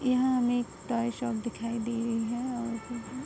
यहाँ हमें एक ड्राइ शॉप दिखाई दे रही है और --